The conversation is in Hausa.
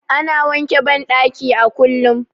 Ana wanke bandaki a kullum